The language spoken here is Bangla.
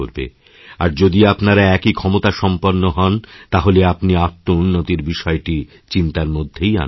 আর যদি আপনারা একই ক্ষমতাসম্পন্নহন তাহলে আপনি আত্মউন্নতির বিষয়টি চিন্তার মধ্যেই আনবেন না